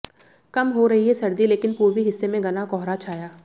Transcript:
कम हो रही है सर्दी लेकिन पूर्वी हिस्से में घना कोहरा छाया